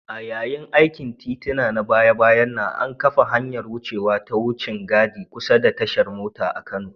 A yayin aikin titin na baya-bayan nan, an kafa hanyar wucewa ta wucin gadi kusa da tashar mota a Kano.